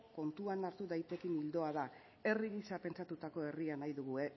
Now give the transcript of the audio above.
kontuan hartu daitekeen ildoa da herri gisa pentsatutako herria nahi dugu